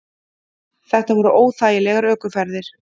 Þetta voru óþægilegar ökuferðir.